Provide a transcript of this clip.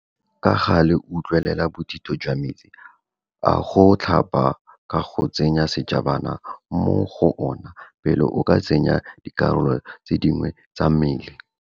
Ka gale utlwelela bothitho jwa metsi a go tlhapa ka go tsenya sejabana mo go ona pele o ka tsenya dikarolo tse dingwe tsa mmele.